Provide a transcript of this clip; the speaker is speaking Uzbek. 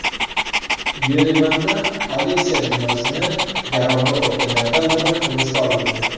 Yerevanda politsiya binosini garovga olganlardan biri hibsga olindi.